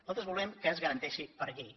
nosaltres volem que es garanteixi per llei